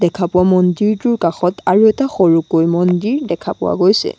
দেখা পোৱা মন্দিৰটোৰ কাষত আৰু এটা সৰুকৈ মন্দিৰ দেখা পোৱা গৈছে।